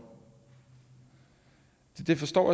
det forstår